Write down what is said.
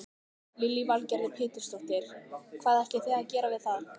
Lillý Valgerður Pétursdóttir: Hvað ætlið þið að gera við það?